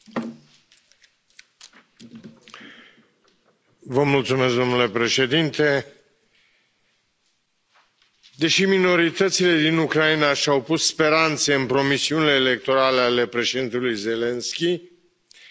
Domnule președinte, deși minoritățile din Ucraina și au pus speranțe în promisiunile electorale ale președintelui Zelensky, potrivit noului ministru al Educației, citez,